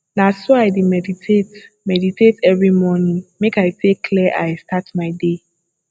na so i dey meditate meditate every morning make i take clear eye start my day